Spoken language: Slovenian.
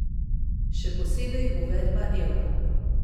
Še posebej uvedba evra.